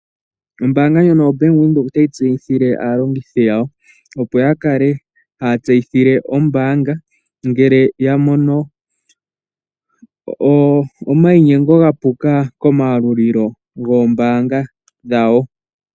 Ombaanga ndjono ya Venduka otayi tseyithile aalongithi yawo opo yakale haya tseyithile ombaanga ngele yamono omayinyengo gapula komayalulo goombaanga dhawo.